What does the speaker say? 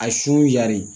A su yari